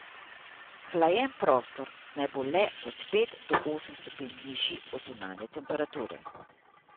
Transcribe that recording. Hlajen prostor naj bo le od pet od osem stopinj nižji od zunanje temperature.